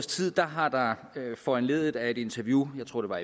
har der foranlediget af et interview jeg tror